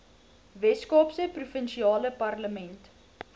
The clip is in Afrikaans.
weskaapse provinsiale parlement